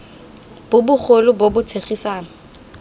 bo bogolo bo bo tshegetsang